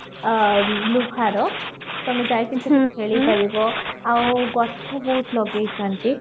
ଆ ଲୁହାର ତମେ ଯାଇକି ସେଠି ଖେଳିପାରିବା ଆଉ ଗଛ ବହୁତ ଲଗେଇଚନ୍ତି